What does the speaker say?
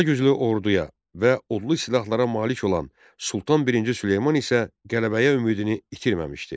Daha güclü orduya və odlu silahlara malik olan Sultan birinci Süleyman isə qələbəyə ümidini itirməmişdi.